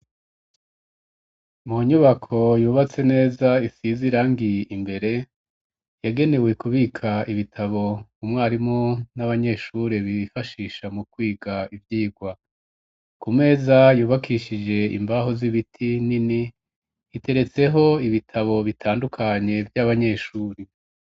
Mu nyubako yubatse neza isize irangi imbere yagenewe kubika ibitabo u mwarimu n'abanyeshure bifashisha mu kwiga ivyigwa ku meza yubakishije imbaho z'ibiti nini iteretseho ibitabo bitandukanye vy'abanyeshuri.